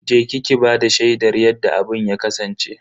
Je ki ki bada shaidar yadda abun ya kasance.